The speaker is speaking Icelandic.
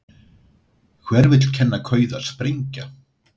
Hver vill kenna kauða að sprengja??